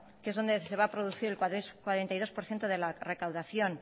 que es de donde se va a producir el cuarenta y dos por ciento de la recaudación